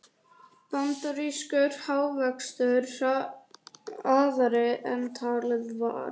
Bandarískur hagvöxtur hraðari en talið var